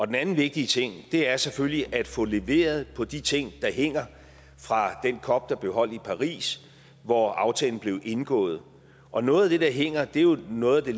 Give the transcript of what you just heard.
den anden vigtige ting er selvfølgelig at få leveret på de ting der hænger fra den cop der blev holdt i paris hvor aftalen blev indgået og noget af det der hænger er jo noget af det